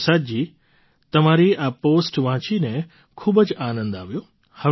ગુરુપ્રસાદજી તમારી આ પૉસ્ટ વાંચીને ખૂબ જ આનંદ આવ્યો